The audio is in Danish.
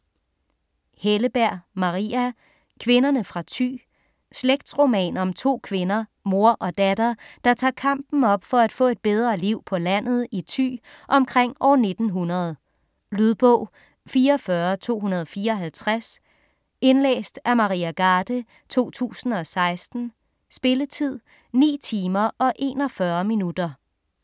Helleberg, Maria: Kvinderne fra Thy Slægtsroman om to kvinder, mor og datter, der tager kampen op for at få et bedre liv på landet i Thy omkring år 1900. Lydbog 44254 Indlæst af Maria Garde, 2016. Spilletid: 9 timer, 41 minutter.